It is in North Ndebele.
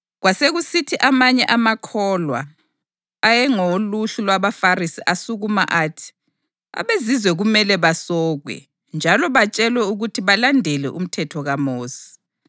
Kwasekusithi amanye amakholwa ayengawoluhlu lwabaFarisi asukuma athi, “AbeZizwe kumele basokwe njalo batshelwe ukuthi balandele umthetho kaMosi.”